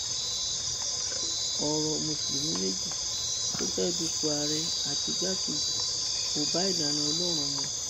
ọrọ mùsùlùmí méjì tó fẹẹ dúpọ àárẹ àti igbákejì kò bá ìlànà ọlọrun mu